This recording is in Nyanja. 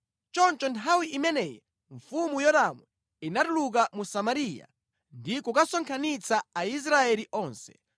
Choncho nthawi imeneyi mfumu Yoramu inatuluka mu Samariya ndi kukasonkhanitsa Aisraeli onse.